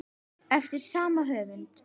eftir sama höfund.